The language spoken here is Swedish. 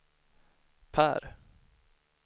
Per